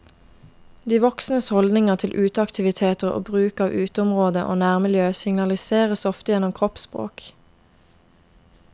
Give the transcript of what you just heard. De voksnes holdninger til uteaktiviteter og bruk av uteområde og nærmiljø signaliseres ofte gjennom kroppsspråk.